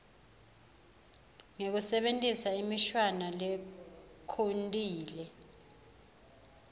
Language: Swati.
ngekusebentisa imishwana lekhontile